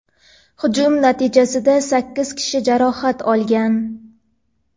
hujum natijasida sakkiz kishi jarohat olgan.